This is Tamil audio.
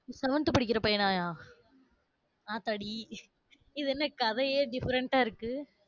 seventh படிக்கிற பையனாயா? ஆத்தாடி இது என்ன கதையே different ஆ இருக்கு.